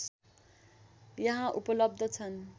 यहाँ उपलब्ध छन्